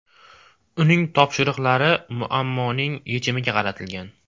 Uning topshiriqlari muammoning yechimiga qaratilgan.